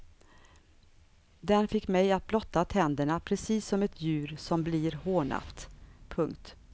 Den fick mig att blotta tänderna precis som ett djur som blir hånat. punkt